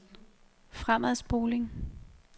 fremadspoling